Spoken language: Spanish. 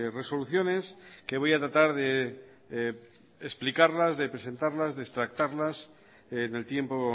resoluciones que voy a tratar de explicarlas presentarlas y extractarlas en el tiempo